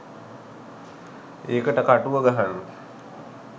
ඒකට කටුව ගහන්න